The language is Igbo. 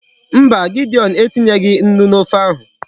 Mba, Gideon etinyeghi Nnu n'ofe ahu